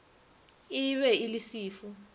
e be e le sefu